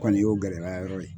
Kɔni y'o gɛlɛya yɔrɔ ye